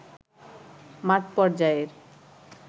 মাঠ পর্যায়ের